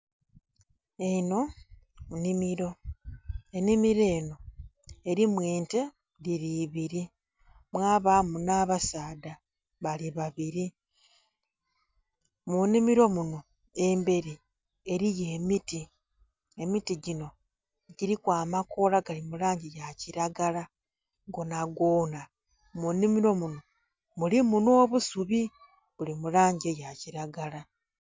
Enho nnhimiro, enhimiro enho erimu ente dhili ibiri mwabamu nha basaadha bali babiri, munhimiro munho emberi eriyo emiti, emiti gyiinho dhiliku amakoola gali mulangi ya kilagala gonagona mu nnhimiro munho mulimu nho busubi buli mulangi eya kilagala.